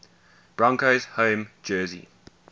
broncos home jersey